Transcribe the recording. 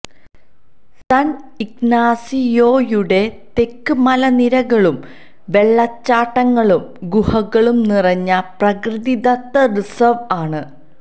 sun ഇഗ്നാസിയോയുടെ തെക്ക് മലനിരകളും വെള്ളച്ചാട്ടങ്ങളും ഗുഹകളും നിറഞ്ഞ പ്രകൃതിദത്ത റിസർവ് ആണ്